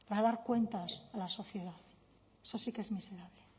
para dar cuentas a la sociedad eso sí que es miserable